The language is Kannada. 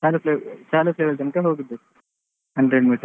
Taluk level taluk level ತನಕ ಹೋಗಿದ್ದೆ hundred meters .